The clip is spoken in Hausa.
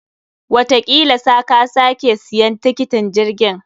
Watakila sa ka sake siyan tiketin jirgin.